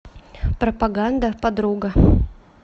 пропаганда подруга